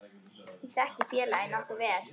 Ég þekki félagið nokkuð vel.